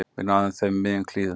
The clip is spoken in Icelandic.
Við náðum þeim í miðjum klíðum